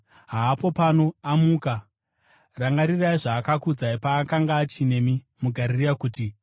Haapo pano; amuka! Rangarirai zvaakakuudzai, paakanga achinemi muGarirea kuti: